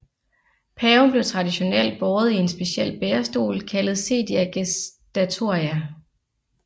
Paven blev traditionelt båret i en speciel bærestol kaldet sedia gestatoria